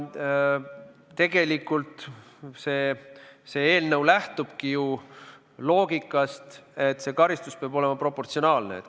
Tegelikult see eelnõu lähtubki ju loogikast, et karistus peab olema proportsionaalne.